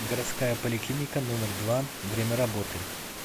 городская поликлиника номер два время работы